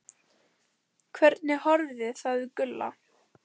Hvernig horfði það við Gulla?